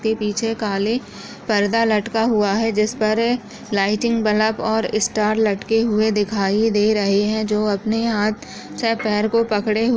इसके पीछे काले पर्दा लटका हुआ है जिस पर लाइटनिंग बल्ब और इस्टार लटके हुए दिखाई दे रहे है जो अपने हाथ से पैर को पकडे हुए--